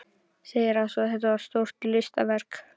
Segir svo: Þetta er stórt listaverk.